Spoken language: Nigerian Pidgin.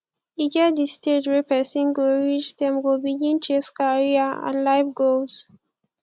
e get di stage wey person go reach dem go begin chase career and life goals